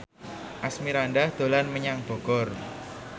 Asmirandah dolan menyang Bogor